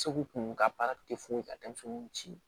Segu kun ka baara tɛ foyi ka denmisɛnninw ci